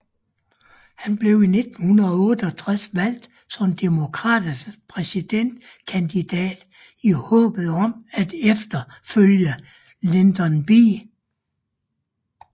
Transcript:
Han blev i 1968 valgt som demokraternes præsidentkandidat i håbet om at efterfølge Lyndon B